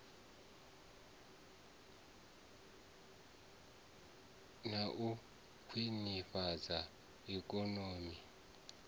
na u khwinifhadza ikonomi u